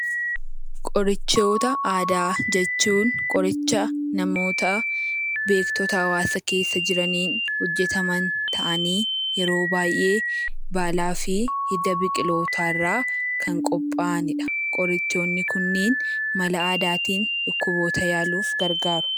Qoricha aadaa jechuun qoricha namoota beektota hawaasa keessa jiraniin hojjataman ta'anii yeroo baay'ee baalaa fi hidda biqilootaa irraa kan qophaa'anidha. Qorichoonni Kunneen mala aadaatiin dhukkuboota yaaluuf kan gargaaranidha.